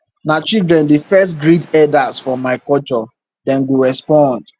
na children dey first greet eldas for my culture dem go respond